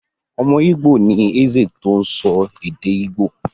Ọmọ Ìgbò ni Eze tó sọ èdè Ìgbò.